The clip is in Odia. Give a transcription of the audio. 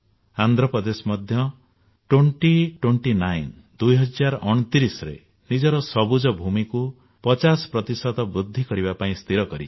ଆନ୍ଧ୍ରପ୍ରଦେଶ ମଧ୍ୟ 2029 ସୁଦ୍ଧା ନିଜର ସବୁଜ ଭୂମିକୁ ପଚାଶ ପ୍ରତିଶତ ବୃଦ୍ଧି କରିବା ପାଇଁ ସ୍ଥିର କରିଛି